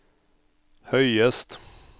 høyest